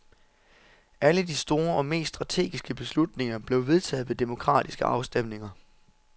Alle de store og mest strategiske beslutninger blev vedtaget ved demokratiske afstemninger.